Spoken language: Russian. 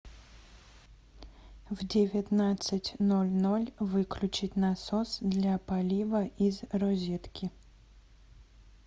в девятнадцать ноль ноль выключить насос для полива из розетки